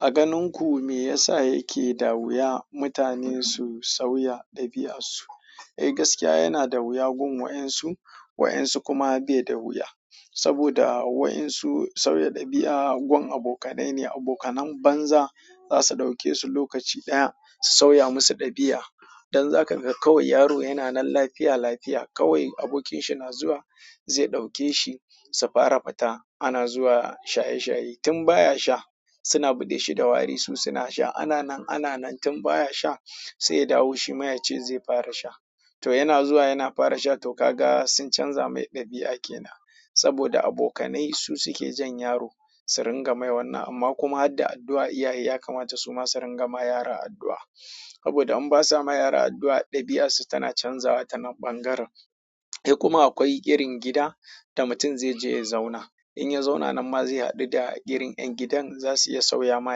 A ganin ku meyasa ya ke da wuya mutane su sauya ɗabi'ar su? Eh gaskiya yana da wuya gun waƴansu waƴansu kuma be da wuya saboda waɗansu sauya ɗabi'a gun abokanai ne, abokanan banza zasu ɗauke su lokaci ɗaya su sauya musu ɗabi'a. Dan zakaga kawai yaro yana nan lafiya lafiya, kawai abokinshi na zuwa zai ɗauke shi su fara fita ana zuwa shaye shaye. Tun ba ya sha suna banishing da wari su suna sha ana nan ana nan tun baya sha sai yadawo shima yace zai fara sha. To yana zuwa yana fara sha to ka ga sun canza mai ɗabi'a kenan. Saboda abokanai su suke jan yaro su ringa mai wannan amma kuma hadda addu'ar iyaye yakamata suma su ringa ma yara addu'a. Saboda in basa ma yara addu'a, ɗabi'arsu tana canzawa ta nan ɓangaren. Eh kuma akwai ƙirin gida da mutum zai je ya zauna. In ya zauna nan ma zai haɗu da ƙirin ƴan gidan zasu iya sauya ma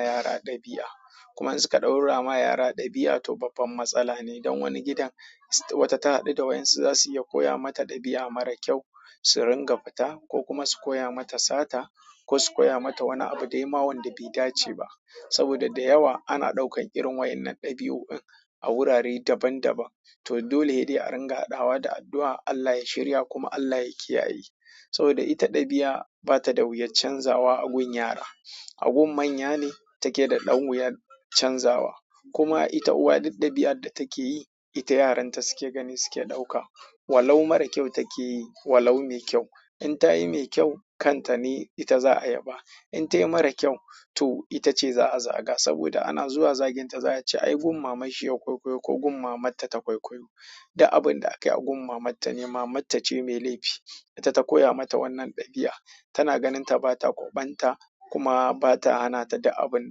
yara ɗabi'a. Kuma in suka ɗaura ma yara ɗabi'a to babban matsala ne don wani gidan wata ta haɗu da waɗansu zasu iya koya mata ɗabi'a mara kyau su ringa fita ko kuma su koya mata sata ko su koya mata wani abu dai ma wanda bai dace ba. Saboda da yawa ana ɗaukan irin wainnan ɗabi'un a wurare daban daban to dole sai dai a ringa haɗawa da addu'a Allah ya shirya kuma Allah ya kiyaye. Saboda ita ɗabi'a bata da wuyar canzawa a gun yara. A gun manya ne take da ɗan wuyar canzawa. Kuma ita uwa duk ɗabi'ar da take yi ita yaranta suke gani suke ɗauka. Walau mara kyau take yi walau mai kyau. In ta yi mai kyau kanta ne ita za'a yaba. In ta yi mara kyau to ita ce za'a zaga saboda ana zuwa zaginta za a ce "ai gun mamanshi ya kwaikwayo ko gun mamatta ta kwaikwayo". Duk abun da ake a gun mamatta ne mamatta ce me laifi. Ita ta koya mata wannan ɗabi'a. Tana ganin ta bata ƙwaɓanta kuma bata hanata duk abun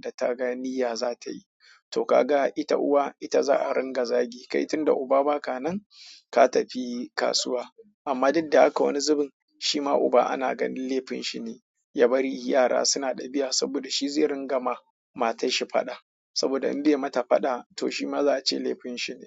da ta ga niyya za ta yi. To ka ga ita uwa ita za'a ringa zagi kai tun da uba baka nan ka tafi kasuwa. Amma duk da haka wani zubin shima uba ana ganin laifin shi ne ya bari yara suna ɗabi'a saboda shi zai ringa ma matarshi faɗa. Saboda in bai mata faɗa to shima za ce laifin shi ne.